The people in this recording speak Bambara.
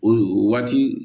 O o waati